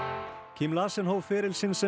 Larsen hóf feril sinn sem